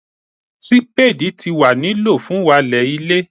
sípédì ti wa ni lo fun walẹ ile